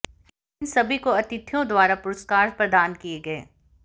इन सभी को अतिथियों द्वारा पुरस्कार प्रदान किए गए